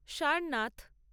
Sarnath